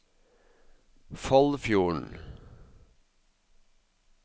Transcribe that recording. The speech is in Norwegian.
Foldfjorden